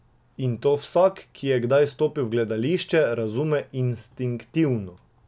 In to vsak, ki je kdaj stopil v gledališče, razume instinktivno.